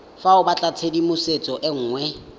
fa o batlatshedimosetso e nngwe